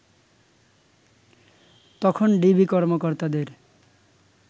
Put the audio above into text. তখন ডিবি কর্মকর্তাদের